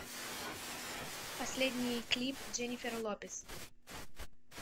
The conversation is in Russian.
последний клип дженнифер лопес